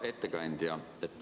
Hea ettekandja!